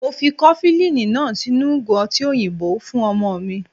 Mo fi kofilini náà sínú ìgò ọtí òyìnbó fún ọmọ mi.